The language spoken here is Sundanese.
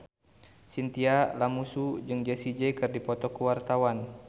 Chintya Lamusu jeung Jessie J keur dipoto ku wartawan